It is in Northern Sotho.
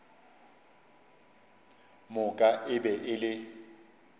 moka e be e le